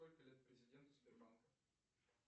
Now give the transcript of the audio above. сколько лет президенту сбербанка